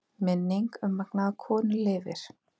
Minning um magnaða konu lifir.